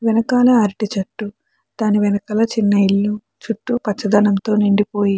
వెనకాల అరటి చెట్టు దాని వెనకాల చిన్న ఇల్లు చుట్టూ పచ్చదనంతో నిండిపోయి --